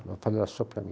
Ele falou assim para mim.